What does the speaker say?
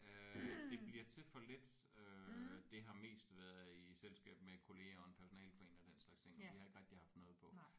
Øh det bliver til for lidt øh det har mest været i selskab med kollegaer og en personaleforening og den slags ting og vi har ikke rigtig haft noget på